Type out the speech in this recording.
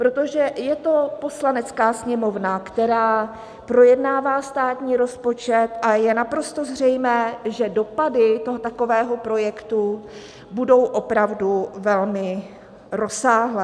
Protože je to Poslanecká sněmovna, která projednává státní rozpočet, a je naprosto zřejmé, že dopady toho takového projektu budou opravdu velmi rozsáhlé.